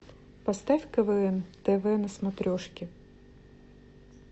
поставь квн тв на смотрешке